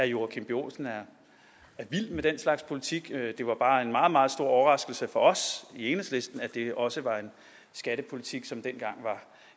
joachim b olsen er vild med den slags politik det var bare en meget meget stor overraskelse for os i enhedslisten at det også var en skattepolitik som dengang var